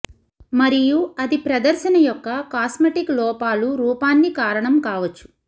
మరియు అది ప్రదర్శన యొక్క కాస్మెటిక్ లోపాలు రూపాన్ని కారణం కావచ్చు